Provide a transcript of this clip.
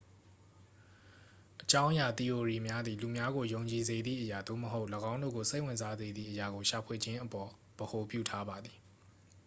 အကြောင်းအရာ သီအိုရီများသည် လူများကို ယုံကြည်စေသည့်အရာ သို့မဟုတ် ၎င်းတို့ကို စိတ်ဝင်စားစေသည့် အရာကို ရှာဖွေခြင်းအပေါ် ဗဟိုပြုထားပါသည်